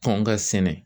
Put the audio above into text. Kɔn ka sɛnɛ